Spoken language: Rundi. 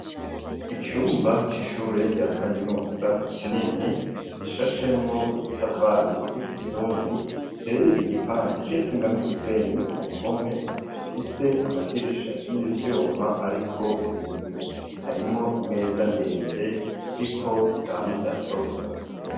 Icumba c'ishure rya kaminuza kinini gishashemwo udutafari tw'ikizungu iteye igipande c'isima n'umusenyi ku mpome ifise amadirisha y'ivyuma ariko ibiyo harimo imeza ndende iriko zamudasobwa.